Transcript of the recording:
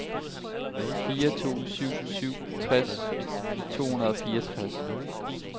fire to syv syv tres to hundrede og fireogtres